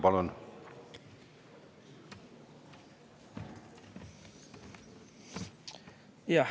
Palun!